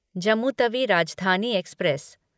Jammu Tawi Rajdhani express